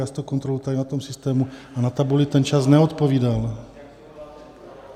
Já si to kontroluji tady na tom systému a na tabuli ten čas neodpovídal.